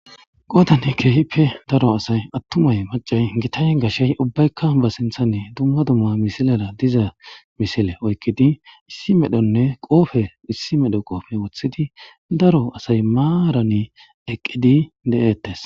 Qodani keehoppe daro asayi atumayi macayi gitayi gashe ubbayika ba sinthan dumma dumma misilen diza misile oyiqidi issi merone qoobe oyiqqid wothidi daro asayi marani eqqidi dee'etes.